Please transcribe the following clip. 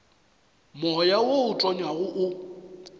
moya wo o tonyago o